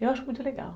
Eu acho muito legal.